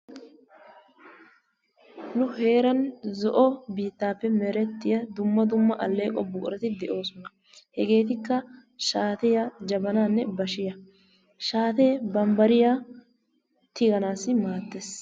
Nu heranmi zo'o bittaappe mertiyaa duma duma aeqqo buquratti de'osonna, hegetikka shariya, bashiyanne jabanna, shattee bambaeiyaa tiganasi madees.